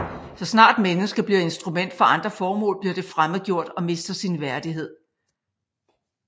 Så snart mennesket bliver instrument for andre formål bliver det fremmedgjort og mister sin værdighed